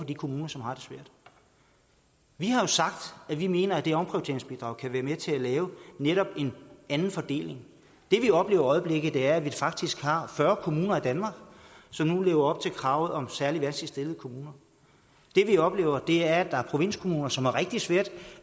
de kommuner som har det svært vi har jo sagt at vi mener at det omprioriteringsbidrag kan være med til at lave netop en anden fordeling det vi oplever i øjeblikket er at vi faktisk har fyrre kommuner i danmark som nu lever op til kravet om særlig vanskeligt stillede kommuner det vi oplever er at der er provinskommuner som har rigtig svært